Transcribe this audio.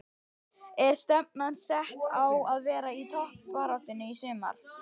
Er stefnan sett á að vera í toppbaráttunni í sumar?